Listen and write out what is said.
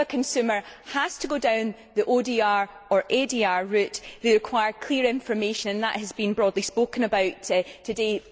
If a consumer has to go down the ODR or ADR route, they require clear information, and that has been broadly spoken about today.